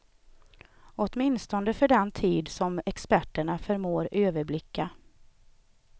Åtminstone för den tid som experterna förmår överblicka.